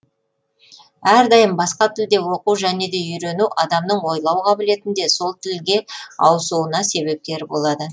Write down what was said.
әрдайым басқа тілде оқу және де үйрену адамның ойлау қабілетін де сол тілге ауысуына себепкер болады